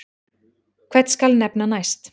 Hvern skal nefna næst?